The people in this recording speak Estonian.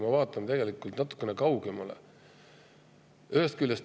Me peaksime hakkama vaatama natukene kaugemale.